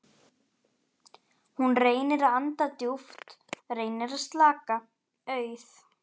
Hún reynir að anda djúpt, reynir að slaka- auð